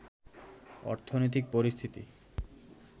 অর্থনৈতিক পরিস্থিতি